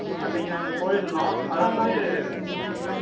அன்னைக்கு, நாங்க போயிருந்தோம். அது வந்து,